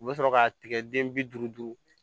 U bɛ sɔrɔ k'a tigɛ den bi duuru duuru